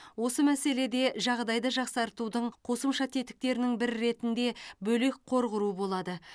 осы мәселеде жағдайды жақсартудың қосымша тетіктерінің бірі ретінде бөлек қор құру болады